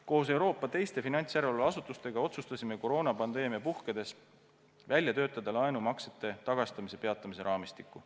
Koos Euroopa teiste finantsjärelevalveasutustega otsustasime koroonapandeemia puhkedes välja töötada laenumaksete tagastamise peatamise raamistiku.